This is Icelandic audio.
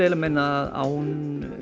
meina að án